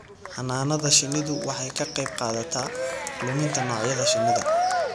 Xannaanada shinnidu waxay ka qaybqaadataa luminta noocyada shinnida.